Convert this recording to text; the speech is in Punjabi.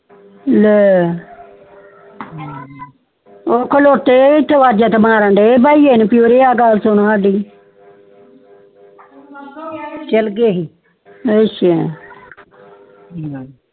ਲੈ ਊ ਖਲੋਤੇ ਤੇ ਅਵਾਜ ਤੇ ਮਾਰ ਬਹੀਏ ਨੂੰ ਕਿ ਉਰੇ ਕਿ ਗੱਲ ਸੁਨ ਸਾਡੀ ਚਾਲ ਗਏ ਸੀ ਅੱਛਾ